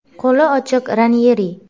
Qo‘li ochiq Ranyeri.